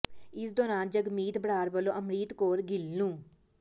ਇਸ ਦੌਰਾਨ ਜਗਮੀਤ ਬਰਾੜ ਵਲੋਂ ਅੰਮ੍ਰਿਤ ਕੌਰ ਗਿੱਲ ਨੂੰ